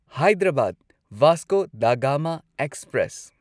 Hyderabad Vasco da Gama express